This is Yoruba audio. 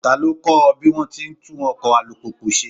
Ta ló kọ́ ọ bí wón ti ń tún ọkọ̀ alùpùpù ṣe?